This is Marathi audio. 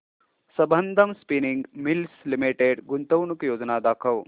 संबंधम स्पिनिंग मिल्स लिमिटेड गुंतवणूक योजना दाखव